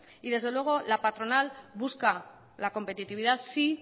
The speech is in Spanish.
y desde luego la patronal busca la competitividad sí